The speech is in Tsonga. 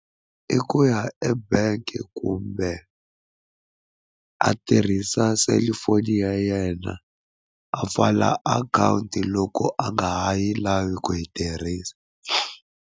I ku ya ebank kumbe a tirhisa cellphone ya yena a pfala akhawunti loko a nga ha yi lavi ku yi tirhisa.